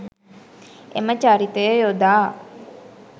එම චරිතය යොදා